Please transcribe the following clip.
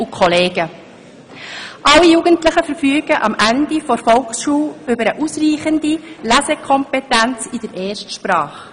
«Alle Jugendlichen verfügen am Ende der Volksschule über eine ausreichende Lesekompetenz in der Erstsprache.